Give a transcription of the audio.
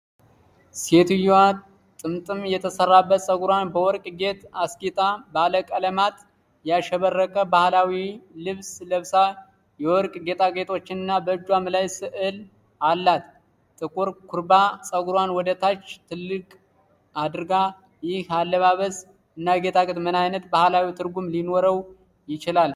ሴትዮዋ ጥምጥም የተሰራበት ጸጉሯን በወርቅ ጌጥ አስጊጣ፣ ባለቀለማት ያሸበረቀ ባህላዊ ልብስ ለብሳ፣ የወርቅ ጌጣጌጦችንና በእጇም ላይ ስዕል አላት። ጥቁር ኩርባ ጸጉሯን ወደ ታች ልቅ አድርጋለች። ይህ አለባበስ እና ጌጣጌጥ ምን ዓይነት ባህላዊ ትርጉም ይኖረው ይሆን?